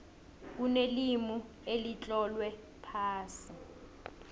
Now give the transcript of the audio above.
kunelimi elitlolwe phasi